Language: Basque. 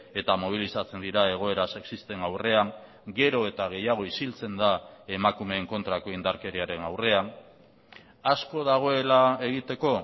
eta mobilizatzen dira egoera sexisten aurrean gero eta gehiago isiltzen da emakumeen kontrako indarkeriaren aurrean asko dagoela egiteko